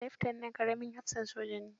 Leftanan ƙaramin hafsan soja ne.